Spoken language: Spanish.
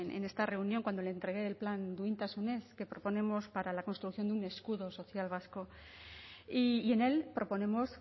en esta reunión cuando le entregué el plan duintasunez que proponemos para la construcción de un escudo social vasco y en él proponemos